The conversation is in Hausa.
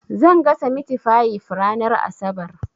Zan gasa mitifayif ranar asabar.